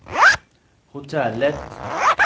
hotellet